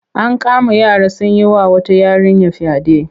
An kama yara sun yi wa wata yarinya fyaɗe.